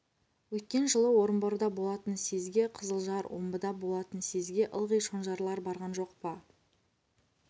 өткен жылы орынборда болатын съезге қызылжар омбыда болатын съезге ылғи шонжарлар барған жоқ па